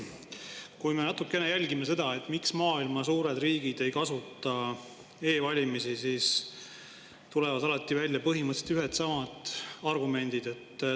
Kui me natukene jälgime seda, miks maailma suured riigid ei kasuta e-valimisi, siis tulevad alati välja põhimõtteliselt ühed ja samad argumendid.